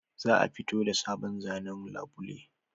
Za a fito da sabon zanen labule